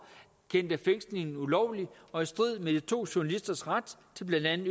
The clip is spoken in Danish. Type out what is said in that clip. kendte fængslingen ulovlig og i strid med de to journalisters ret til blandt